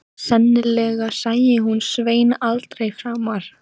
Sennilega sæi hún Svein aldrei framar.